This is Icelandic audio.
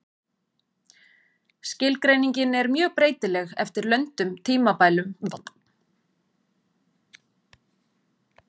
Skilgreiningin er mjög breytileg eftir löndum, tímabilum og menningarsvæðum.